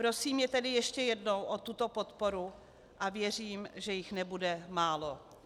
Prosím je tedy ještě jednou o tuto podporu a věřím, že jich nebude málo.